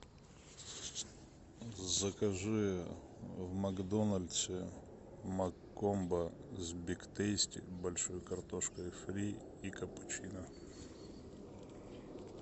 закажи в макдональдсе маккомбо с биг тейсти большой картошкой фри и капучино